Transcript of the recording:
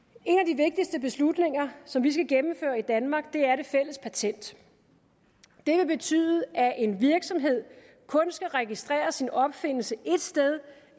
en beslutninger som vi skal gennemføre i danmark er det fælles patent det vil betyde at en virksomhed kun skal registrere sin opfindelse ét sted